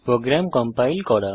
programme compile করা